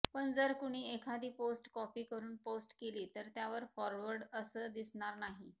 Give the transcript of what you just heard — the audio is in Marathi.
पण जर कुणी एखादी पोस्ट काॅपी करून पोस्ट केली तर त्यावर फाॅरवर्ड असं दिसणार नाही